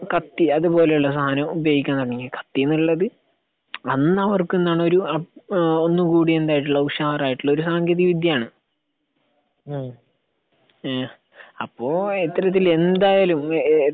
കത്തി അത് പോലെയുള്ള സാധനം ഉപയോഗിക്കാൻ തുടങ്ങി. ഈ കത്തി എന്നുള്ളത് അന്നവർക്ക് എന്താണ് ഒരു ഏഹ് ഒന്നും കൂടി എന്തായിട്ടുള്ള ഉഷാറായിട്ടുള്ള ഒരു സാങ്കേന്തിക വിദ്യയാണ്. ഏഹ് അപ്പൊ ഇത്തരത്തിൽ എന്തായാലും .